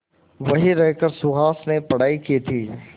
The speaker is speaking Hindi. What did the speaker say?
वहीं रहकर सुहास ने पढ़ाई की थी